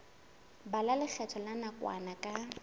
bala lekgetho la nakwana ka